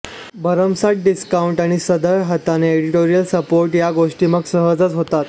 भरमसाठ डिस्काउंट आणि सढळ हाताने एडिटोरियल सपोर्ट या गोष्टी मग सहजच होतात